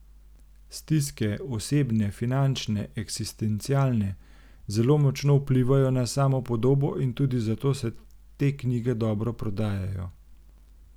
Stiske, osebne, finančne, eksistencialne, zelo močno vplivajo na samopodobo in tudi zato se te knjige dobro prodajajo.